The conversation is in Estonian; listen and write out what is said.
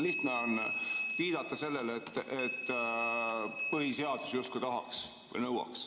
Lihtne on viidata sellele, et põhiseadus justkui tahaks või nõuaks.